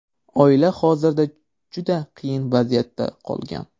Oila hozirda juda qiyin vaziyatda qolgan.